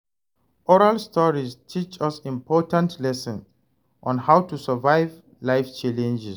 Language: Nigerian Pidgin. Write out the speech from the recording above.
Oral stories teach us important lessons on how to survive life challenges.